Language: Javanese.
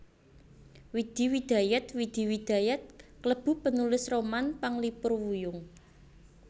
Widi Widajat Widi Widayat klebu penulis roman panglipur wuyung